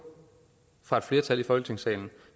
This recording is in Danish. fra et flertal i folketingssalen